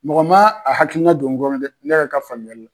Mɔgɔ m'a a hakilina don n kɔnɔ dɛ ne yɛrɛ ka faamuyali la.